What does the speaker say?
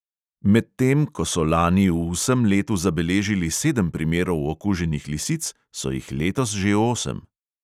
Medtem ko so lani v vsem letu zabeležili sedem primerov okuženih lisic, so jih letos že osem.